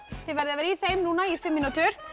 þið verðið að vera í þeim núna í fimm mínútur